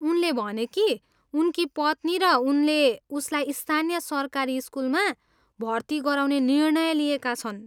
उनले भने कि उनकी पत्नी र उनले उसलाई स्थानीय सरकारी स्कुलमा भर्ती गराउने निर्णय लिएका छन्।